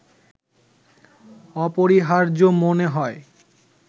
অপরিহার্য মনে হয়